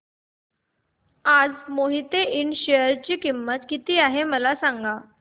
आज मोहिते इंड च्या शेअर ची किंमत किती आहे मला सांगा